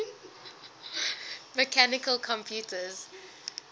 mechanical computers